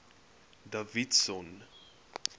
davidson